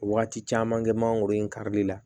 Wagati caman kɛ mangoro in karili la